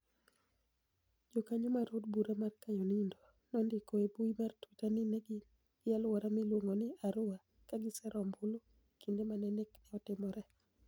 Jakaniyo mar od bura ma Kyadonido nonidiko e mbui mar twitter nii ni e gini e alwora miluonigo nii Arua kagisero ombulu e kinide ma ni ek ni e otimore.